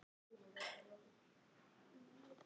Ætlarðu að láta það stjórna lífinu?